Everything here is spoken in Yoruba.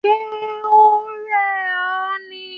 Ṣe o rẹ ọ ni?